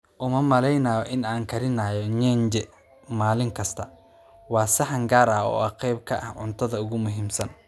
Uma maleynayo in aan karinayo nyenje maalin kasta, waa saxan gaar ah oo qayb ka ah cuntada ugu muhiimsan